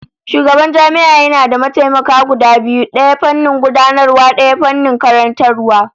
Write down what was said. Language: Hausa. Shugaban jami'a yana da mataimaka guda biyu, daya fannin gudanarwa, daya fannin karantarwa